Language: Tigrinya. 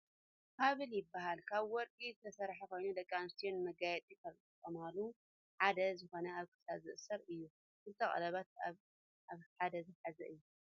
ሃብል ይብሃል ካበ ወርቂ ዝተሰረሐ ኮይኑ ደቂ ኣንስትዮ ንመጋየፂ ካብ ዝጥቀማሉ ሓደ ዝኮነ ኣብ ክሳድ ዝእሰር እዩ። ክልተ ቀሌቤተ ኣበ ሓደ ዝሓዘ እዩ።